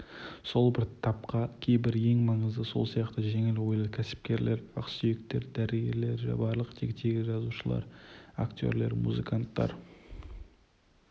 сол бір тапқа кейбір ең маңызды сол сияқты жеңіл ойлы кәсіпкерлер ақсүйектер дәрігерлер барлық тектегі жазушылар актерлер музыканттар